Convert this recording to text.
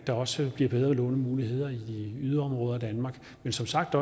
der også bliver bedre lånemuligheder i yderområder af danmark men som sagt